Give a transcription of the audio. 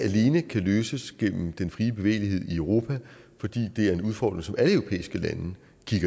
alene kan løses igennem den frie bevægelighed i europa fordi det er en udfordring som alle europæiske lande